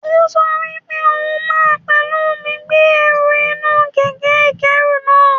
Ó sọ wípé òhun máa pẹ̀lú mi gbé ẹrù inú kẹ̀kẹ́ ìkẹ́rù náa.